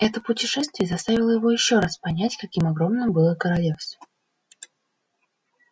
это путешествие заставило его ещё раз понять каким огромным было королевство